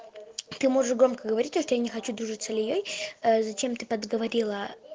ты можешь громкоговоритель я не хочу дружить с ильёй зачем ты подговорила